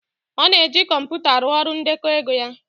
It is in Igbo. Ọ na-eji kọmpụta arụ ọrụ ndekọ ego ya